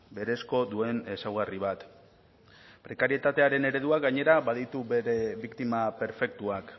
berezko duen ezaugarri bat prekarietatearen ereduak gainera baditu bere biktima perfektuak